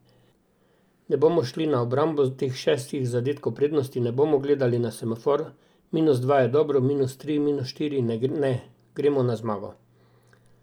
Ne bomo šli na obrambo teh šestih zadetkov prednosti, ne bomo gledali na semafor, minus dva je dobro, minus tri, minus štiri, ne, gremo na zmago.